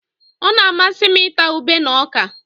Ọ na-amasị m ịta ube na ọka